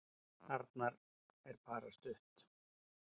Arnar: En bara stutt.